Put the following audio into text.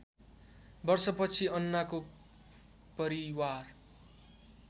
वर्षपछि अन्नाको परिवार